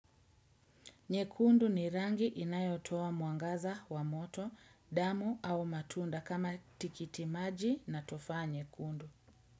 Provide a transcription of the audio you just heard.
Nyekundu ni rangi inayotoa mwangaza wa moto, damu au matunda kama tikiti maji na tufaa nyekundu.